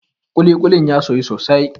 kulikulin ya soyu sosai